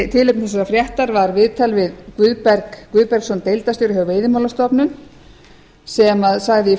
tilefni þessarar fréttar var viðtal við guðberg guðbergsson deildarstjóra hjá veiðimálastofnun sem sagði